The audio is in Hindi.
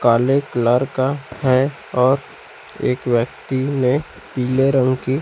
काले कलर का है और एक व्यक्ति ने पीले रंग की--